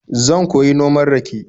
Zan koyi noman rake.